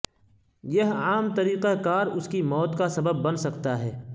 یہ عام طریقہ کار اس کی موت کا سبب بن سکتا ہے